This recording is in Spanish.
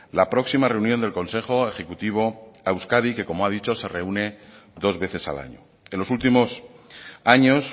la próxima reunión del consejo ejecutivo a euskadi que como ha dicho se reúne dos veces al año en los últimos años